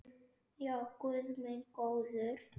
Já, guð minn góður.